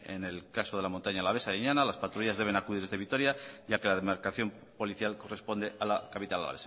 en el caso de la montaña alavesa de illana las patrullas deben acudir desde vitoria ya que la demarcación policial corresponde a la capital